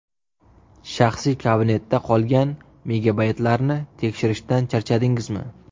Shaxsiy kabinetda qolgan megabaytlarni tekshirishdan charchadingizmi?